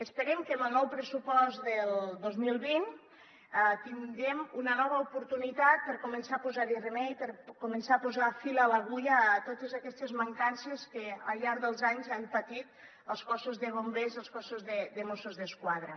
esperem que amb el nou pressupost del dos mil vint tinguem una nova oportunitat per començar a posar hi remei per començar a posar fil a l’agulla a totes aquestes mancances que al llarg dels anys han patit el cos de bombers el cos de mossos d’esquadra